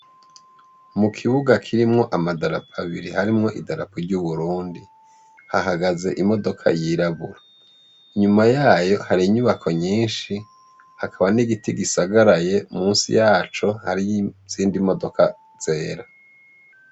Mu kibuga kirimwo amadarapo abiri harimwo idarapo ry’Uburundi. Hahagaze imodoka yirabura. Inyuma yayo hari inyubako nyinshi, hakaba n’igiti gisagaraye musi yaco hariyo izindi imodoka zera.